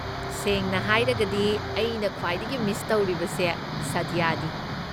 ꯁꯦꯡꯅ ꯍꯥꯏꯔꯒꯗꯤ, ꯑꯩꯅ ꯈ꯭ꯋꯥꯏꯗꯒꯤ ꯃꯤꯁ ꯇꯧꯔꯤꯕꯁꯦ ꯁꯥꯗ꯭ꯌꯅꯤ꯫